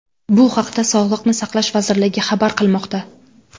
Bu haqda Sog‘liqni saqlash vazirligi xabar qilmoqda .